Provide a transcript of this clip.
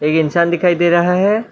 इंसान दिखाई दे रहा है।